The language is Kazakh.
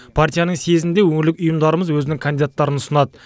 партияның съезінде өңірлік ұйымдарымыз өзінің кандидаттарын ұсынады